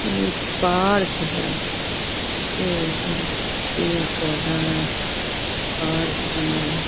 ये पार्क है ये थोड़े पेड़-पौधा हैं पार्क बनल --